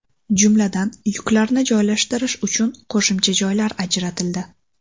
Jumladan, yuklarni joylashtirish uchun qo‘shimcha joylar ajratildi.